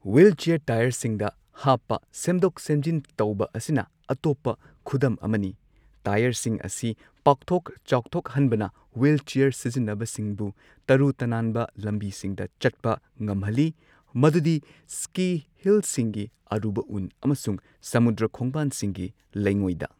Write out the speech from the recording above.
Wheelchair ꯇꯥꯌꯔꯁꯤꯡꯗ ꯍꯥꯞꯄ ꯁꯦꯝꯗꯣꯛ ꯁꯦꯝꯖꯤꯟ ꯇꯧꯕ ꯑꯁꯤꯅ ꯑꯇꯣꯞꯄ ꯈꯨꯗꯝ ꯑꯃꯅꯤ ꯇꯥꯌꯔꯁꯤꯡ ꯑꯁꯤ ꯄꯥꯛꯊꯣꯛ ꯆꯥꯎꯊꯣꯛꯍꯟꯕꯅ ꯍ꯭ꯋꯨꯜꯆꯤꯌꯔ ꯁꯤꯖꯤꯟꯅꯕꯁꯤꯡꯕꯨ ꯇꯔꯨ ꯇꯅꯥꯟꯕ ꯂꯝꯕꯤꯁꯤꯡꯗ ꯆꯠꯄ ꯉꯝꯍꯜꯂꯤ, ꯃꯗꯨꯗꯤ ꯁ꯭ꯀꯤ ꯍꯤꯜꯁꯤꯡꯒꯤ ꯑꯔꯨꯕ ꯎꯟ, ꯑꯃꯁꯨꯡ ꯁꯃꯨꯗ꯭ꯔ ꯈꯣꯡꯕꯥꯟꯁꯤꯡꯒꯤ ꯂꯩꯉꯣꯏꯗ꯫